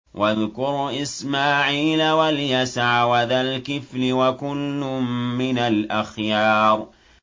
وَاذْكُرْ إِسْمَاعِيلَ وَالْيَسَعَ وَذَا الْكِفْلِ ۖ وَكُلٌّ مِّنَ الْأَخْيَارِ